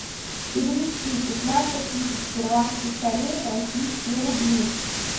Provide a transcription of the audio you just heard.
перевести пятнадцать тысяч перуанских солей в российские рубли